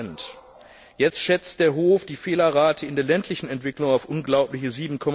2 Jetzt schätzt der Hof die Fehlerrate in der ländlichen Entwicklung auf unglaubliche